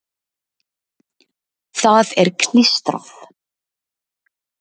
Það er klístrað.